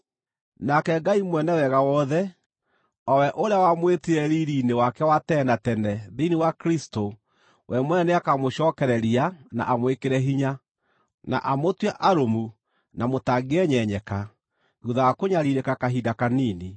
Nake Ngai mwene wega wothe, o we ũrĩa wamwĩtire riiri-inĩ wake wa tene na tene thĩinĩ wa Kristũ, we mwene nĩakamũcookereria, na amwĩkĩre hinya, na amũtue arũmu na mũtangĩenyenyeka, thuutha wa kũnyariirĩka kahinda kanini.